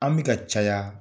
An bɛka caya,